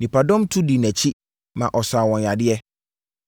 Nnipadɔm tu dii nʼakyi, ma ɔsaa wɔn yadeɛ.